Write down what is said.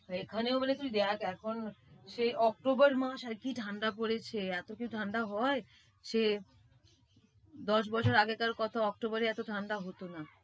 এখানেও বলে তুই দেখ এখন, সেই অক্টোবর মাস আর কি ঠাণ্ডা পরেছে এত কি ঠাণ্ডা হয়। সে দশ বছর আগেকার কথা অক্টোবরে এত ঠাণ্ডা হতো না।